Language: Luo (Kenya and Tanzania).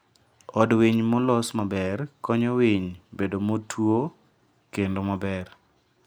od winy molos maber konyo winy bedo motuo kendo maber.